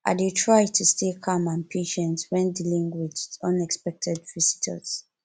i dey try to stay calm and patient when dealing with unexpected visitors